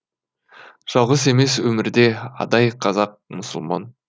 жалғыз емес өмірде адай қазақ мұсылман